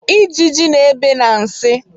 Ijiji na-ebe na nsị